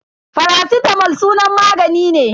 Faracitamol sunan magani ne.